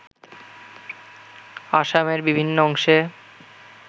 আসামের বিভিন্ন অংশে